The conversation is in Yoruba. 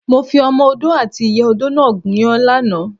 Mo fi Ọmọ Odó àti ìyá odó náà gúnyán lánàá.